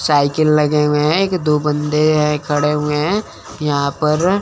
cycle लगे हुए हैं एक दो बंदे हैं खड़े हुए हैं यहां पर--